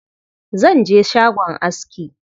Zan je shagon aski.